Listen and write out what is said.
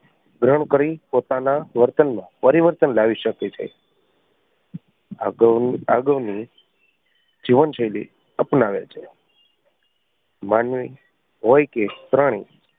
ગ્રહણ કરી પોતાના વર્તન માં પરિવર્તન લાવી શકીએ છીએ. અગાઉની અગાઉની જીવન શૈલી અપનાવે છે માનવી હોય કે પ્રાણી